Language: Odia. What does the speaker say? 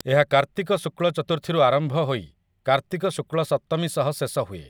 ଏହା କାର୍ତ୍ତିକ ଶୁକ୍ଲ ଚତୁର୍ଥୀରୁ ଆରମ୍ଭ ହୋଇ କାର୍ତ୍ତିକ ଶୁକ୍ଲ ସପ୍ତମୀ ସହ ଶେଷ ହୁଏ ।